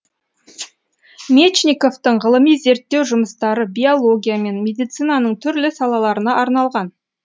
мечниковтың ғылыми зерттеу жұмыстары биология мен медицинаның түрлі салаларына арналған